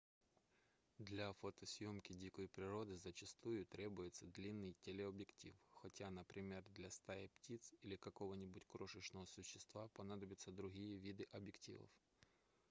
для фотосъёмки дикой природы зачастую требуется длинный телеобъектив хотя например для стаи птиц или какого-нибудь крошечного существа понадобятся другие виды объективов